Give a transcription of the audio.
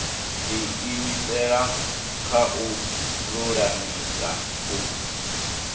diimisela kha u lulamisa u